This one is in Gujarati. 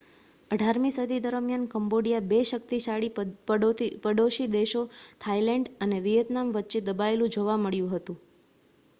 18મી સદી દરમિયાન કંબોડિયા બે શક્તિશાળી પડોશી દેશો થાઇલેન્ડ અને વિયેતનામ વચ્ચે દબાયેલું જોવા મળ્યું હતું